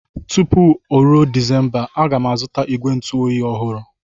Tupu oru Disemba, A ga m azụta igwe ntu oyi ọhụrụ.